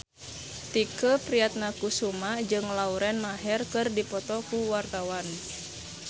Tike Priatnakusuma jeung Lauren Maher keur dipoto ku wartawan